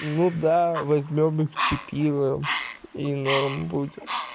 ну да возьмём и чипируем и нормально будет